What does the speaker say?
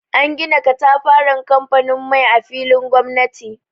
An gina katafaren kamfanin mai a filin gomnati.